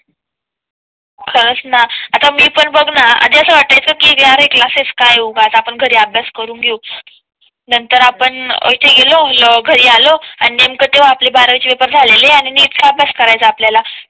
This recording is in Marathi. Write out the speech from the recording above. खरंच ना आता मी पण बघ न आधी असं वाटायचं कि अरे क्लासेस काय उगाच आपण घरी अभ्यास करून घेऊ. नंतर आपण येथे गेलो घरी आलो आणि नेमकं तेव्हा आपली बारा वी चे पेपर झालेले आणि नीट चा अभ्यास करायचा आपल्या ला